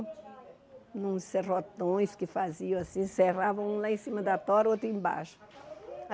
Uns serrotões que faziam assim, serravam um lá em cima da tora, o outro embaixo.